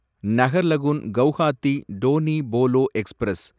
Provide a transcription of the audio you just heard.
Naharlagun Guwahati Donyi Polo express